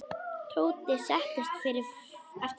Tóti settist fyrir aftan.